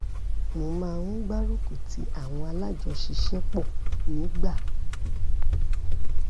mo máa ń gbárùkù tí àwọn alájọṣiṣẹ́pọ̀ nígbà